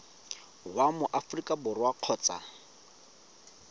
wa mo aforika borwa kgotsa